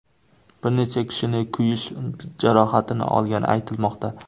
Bir necha kishining kuyish jarohatini olgani aytilmoqda.